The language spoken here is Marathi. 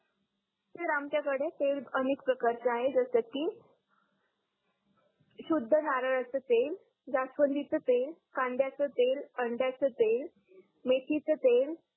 सर आमच्याकडे तेल अनेक प्रकारचे आहे जसं की शुद्ध नारळाचे तेल, जास्वंदीचे तेल, कांद्याचे तेल, अंड्याचे तेल, मेथीचे तेल,